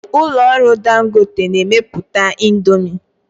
Ụlọ ọrụ Dangote na-emepụta indomi.